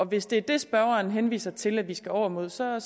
hvis det er det spørgeren henviser til at vi skal over mod så er